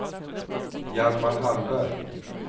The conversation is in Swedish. Hjalmar Hallberg